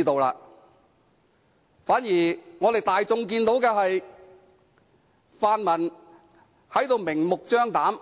相反，大家都看到，泛民明目張膽、